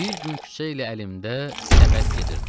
Bir gün küçə ilə əlimdə səbət gedirdim.